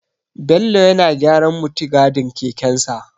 Bello yana gyaran muttigadin kekensa.